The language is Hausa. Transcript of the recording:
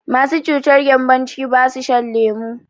Masu cutar gembon ciki basu shan lemu